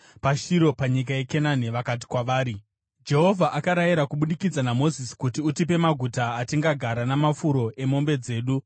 PaShiro panyika yeKenani vakati kwavari, “Jehovha akarayira kubudikidza naMozisi kuti utipe maguta atingagara namafuro emombe dzedu.”